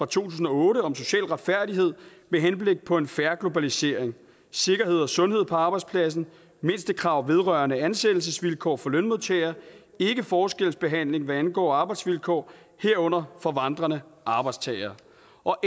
tusind og otte om social retfærdighed med henblik på en fair globalisering sikkerhed og sundhed på arbejdspladsen mindstekrav vedrørende ansættelsesvilkår for lønmodtagere ikkeforskelsbehandling hvad angår arbejdsvilkår herunder for vandrende arbejdstagere